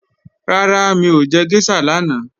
Rárá mi ò jẹ géṣà lánàá